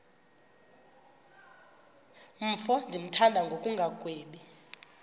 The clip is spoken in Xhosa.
mfo ndimthanda ngokungagwebi